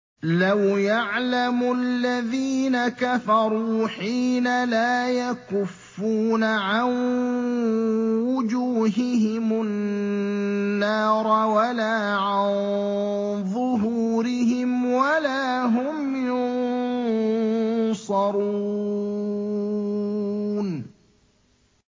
لَوْ يَعْلَمُ الَّذِينَ كَفَرُوا حِينَ لَا يَكُفُّونَ عَن وُجُوهِهِمُ النَّارَ وَلَا عَن ظُهُورِهِمْ وَلَا هُمْ يُنصَرُونَ